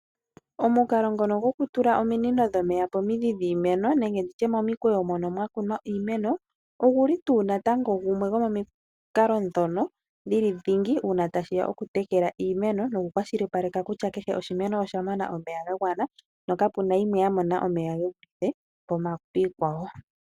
Omukalo ngono gokutula ominino dhomeya pomidhi dhiimeno nenge nditye momikweyo mono mwakunwa iimeno , oguli tu natango gumwe gomomikalo dhono dhili dhingi uuna tashiya okutekela iimeno nokukwashilipaleka kutya kehe oshimeno oshamona omeya gagwana na kapena yimwe yamona omeya gevulithe piikwawo.